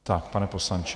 Tak, pane poslanče.